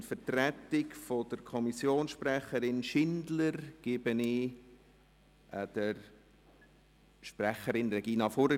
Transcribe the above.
In Vertretung der Kommissionssprecherin Schindler erteile ich das Wort der Sprecherin Regina Fuhrer.